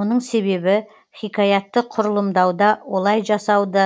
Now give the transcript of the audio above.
мұның себебі хикаятты құрылымдауда олай жасауды